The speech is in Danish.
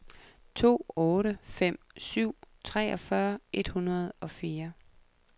to otte fem syv treogfyrre et hundrede og fire